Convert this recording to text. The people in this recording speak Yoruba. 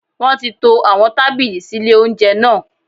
Wọ́n ti to àwọn tábìlì sí lé oúnjẹ náà